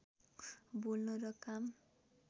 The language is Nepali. बोल्न र काम